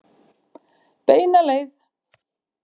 Beina leið.